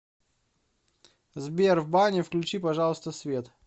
сбер в бане включи пожалуйста свет